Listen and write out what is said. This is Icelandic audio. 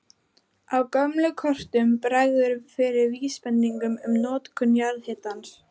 Á gömlum kortum bregður fyrir vísbendingum um notkun jarðhitans.